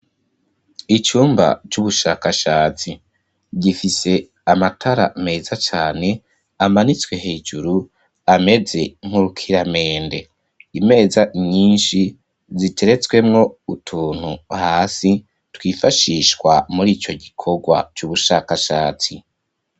Icumba c'ubushakashatsi gifise amatara meza cane amanitswe hejuru, ameze nk'urukiramende. Imeza nyinshi ziteretswemwo utuntu hasi, twifashishwa muri ico gikorwa c'ubushakashatsi.